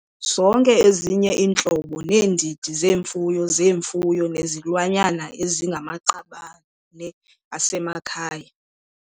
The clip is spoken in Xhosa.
Zonke ezinye iintlobo neendidi zemfuyo zemfuyo nezilwanyana ezingamaqabane asemakhaya.